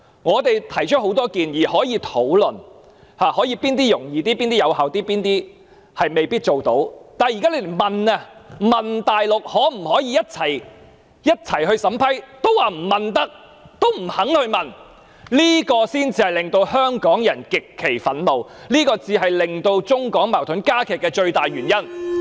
我們提出很多建議，大家可以討論哪些措施比較更容易、更有效做到，或哪些措施未必做得到，但現在只是詢問大陸當局可否一起審批單程證，特區政府卻說未能詢問，也不願意去問，這才令香港人極憤怒、令中港矛盾加劇的最大原因。